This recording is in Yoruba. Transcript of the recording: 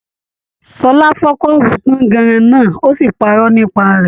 Ṣọlá fọ kọ́ọ́bú tànganran náà òsì parọ́ nípa rẹ.